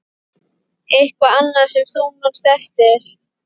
Eitthvað annað sem þú manst eftir?